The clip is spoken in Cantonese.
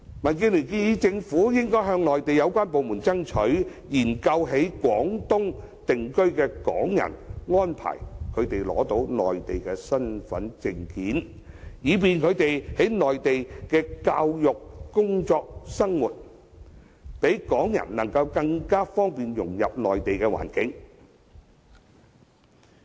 民建聯建議政府應向內地有關部門爭取，研究向在廣東省定居的港人提供幫助，安排他們申領內地身份證，以方便他們在內地接受教育、工作和生活，讓港人更易融入內地環境。